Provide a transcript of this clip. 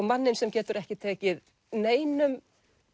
manninn sem getur ekki tekið neinum